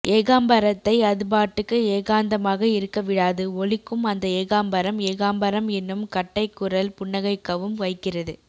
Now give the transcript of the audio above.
ஏகாம்பரத்தை அதுபாட்டுக்கு ஏகாந்தமாக இருக்க விடாது ஒலிக்கும் அந்த ஏகாம்பரம் ஏகாம்பரம் என்னும் கட்டைக்குரல் புன்னகைக்கவும் வைக்கிறது